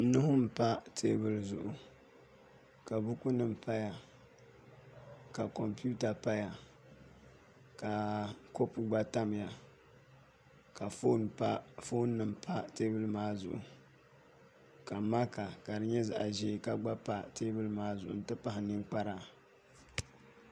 nuhi m-pa teebuli zuɣu ka bukunima paya ka kɔmputa paya ka kopu gba tamya ka foonnima pa teebuli maa zuɣu ka maka ka di nyɛ zaɣ' ʒee gba pa teebuli maa zuɣu nti pahi ninkpara